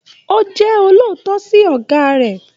O jẹ olóòótọ sí ọgá rẹ.